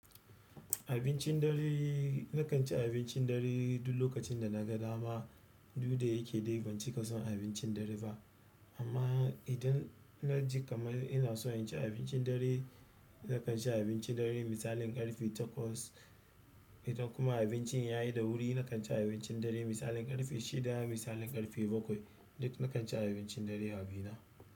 Abincin dare, nakan ci abincin dare duk lokacin da na ga dama duk da yake dai ban cika son abincin dare ba. Amma idan na ji kamar ina so in ci abincin dare, nakan ci abincin dare misalin ƙarfe takwas. Idan kuma abincin ya yi da wuri nakan ci abincin dare misalin ƙarfe shida misalin ƙarfe bakwai. Duk nakan ci abincin dare a bina.